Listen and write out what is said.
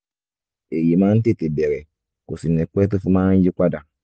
èyí máa ń tètè bẹ̀rẹ̀ kò sì ní pẹ́ tó fi máa ń yí padà